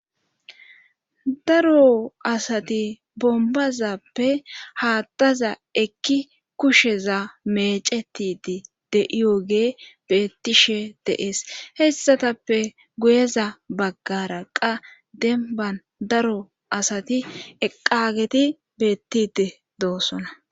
daro asati bombazappe haattaza ekki kusheza mecetidi de7iyogee beettishe deees hessatappe guyeza baggara qa denban daro asati eqageti beettide doosona